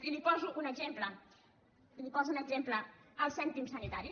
i li poso un exemple i li poso un exemple el cèntim sanitari